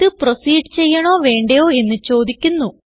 ഇത് പ്രോസീഡ് ചെയ്യണോ വേണ്ടയോ എന്ന് ചോദിക്കുന്നു